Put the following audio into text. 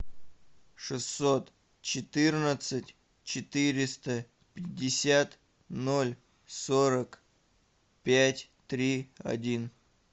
шестьсот четырнадцать четыреста пятьдесят ноль сорок пять три один